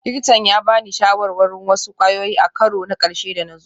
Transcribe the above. Likitan ya ba ni shawarar wasu kwayoyi a karo na ƙarshe da na zo